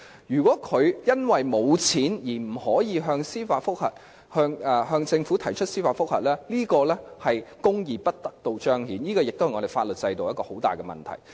如果市民因為無錢而不能向政府提出司法覆核，這是公義得不到彰顯，也是我們法律制度上的大問題。